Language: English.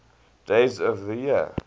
days of the year